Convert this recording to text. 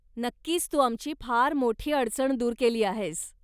नक्कीच तू आमची फार मोठी अडचण दूर केली आहेस.